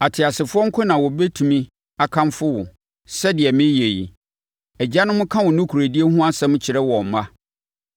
Ateasefoɔ nko na wɔbɛtumi akamfo wo, sɛdeɛ mereyɛ ɛnnɛ yi; agyanom ka wo nokorɛdie ho asɛm kyerɛ wɔn mma.